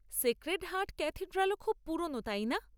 Sacred heart ক্যাথিড্রালও খুব পুরোনো, তাই না?